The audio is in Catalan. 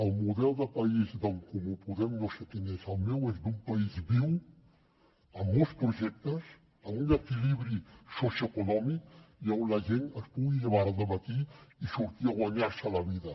el model de país d’en comú podem no sé quin és el meu és d’un país viu amb molts projectes amb un equilibri socioeconòmic i on la gent es pugui llevar cada matí i sortir a guanyar se la vida